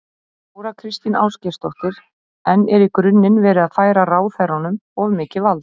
Þóra Kristín Ásgeirsdóttir: En er í grunninn verið að færa ráðherranum of mikið vald?